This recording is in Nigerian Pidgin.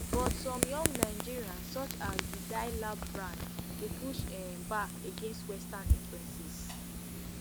but some young nigerians such as di dye lab brand dey push um back against western influences